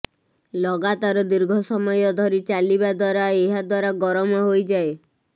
ଲଗାତାର ଦୀର୍ଘ ସମୟ ଧରି ଚାଲିବା ଦ୍ୱାରା ଏହାଦ୍ୱାରା ଗରମ ହୋଇଯାଏ